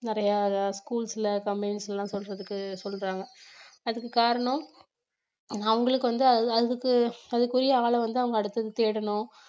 நிறைய schools ல companies ல்லாம் சொல்றதுக்கு சொல்றாங்க அதுக்கு காரணம் அவங்களுக்கு வந்து அது அதுக்கு அதுக்குரிய ஆள வந்து அவங்க அடுத்தது தேடணும்